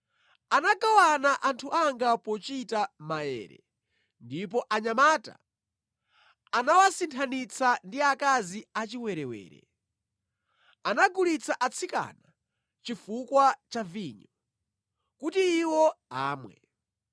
Anagawana anthu anga pochita maere ndipo anyamata anawasinthanitsa ndi akazi achiwerewere; anagulitsa atsikana chifukwa cha vinyo kuti iwo amwe.